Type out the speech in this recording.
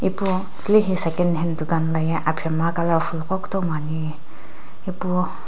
pu tilehi secondhand dukan laye aphinhemgha colourful qo kutomo ani ipu.